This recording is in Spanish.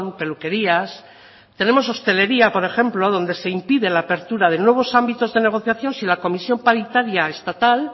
peluquerías tenemos hostelería por ejemplo donde se impide la apertura de nuevos ámbitos de negociación si la comisión paritaria estatal